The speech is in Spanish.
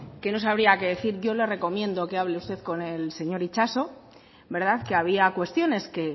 que no sabría qué decir yo le recomiendo que hable usted con el señor itxaso que había cuestiones que